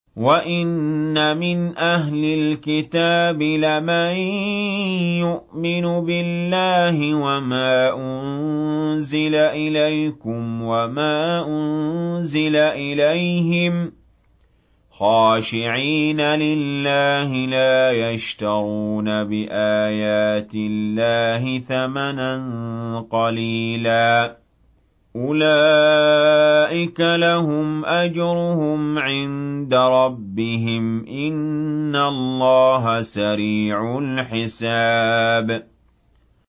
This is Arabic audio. وَإِنَّ مِنْ أَهْلِ الْكِتَابِ لَمَن يُؤْمِنُ بِاللَّهِ وَمَا أُنزِلَ إِلَيْكُمْ وَمَا أُنزِلَ إِلَيْهِمْ خَاشِعِينَ لِلَّهِ لَا يَشْتَرُونَ بِآيَاتِ اللَّهِ ثَمَنًا قَلِيلًا ۗ أُولَٰئِكَ لَهُمْ أَجْرُهُمْ عِندَ رَبِّهِمْ ۗ إِنَّ اللَّهَ سَرِيعُ الْحِسَابِ